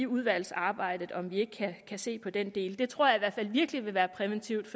udvalgsarbejdet om vi ikke kan se på den del det tror jeg i hvert fald virkelig vil være præventivt